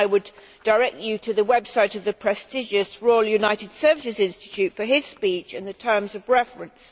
I would direct you to the website of the prestigious Royal United Services Institute for his speech and the terms of reference.